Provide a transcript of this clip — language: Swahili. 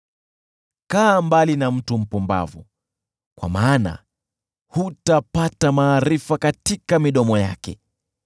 Kaa mbali na mtu mpumbavu, kwa maana hutapata maarifa katika midomo yake.